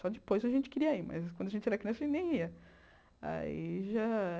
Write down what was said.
Só depois a gente queria ir, mas quando a gente era criança nem ia. Aí já